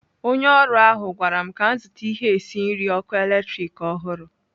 Onye ọrụ ahụ gwara m ka m zụta ihe esi nri ọkụ eletrik ọhụrụ.